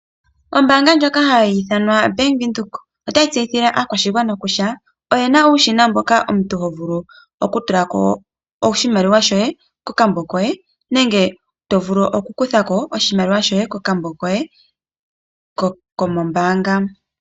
Oombaanga yo Bank Windhoek ota yi tseyithile aakwashigwana kutya oyina uushina mboka omuntu ho vulu oku tula ko oshimaliwa shoye kokambo koye . Nenge to vulu oku kuthako oshimaliwa shoye kokambo koye kombaanga.